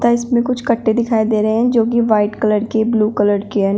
इसमें कुछ कट्टे दिखाई दे रहे हैं जोकि व्हाइट कलर के ब्लू कलर के हन--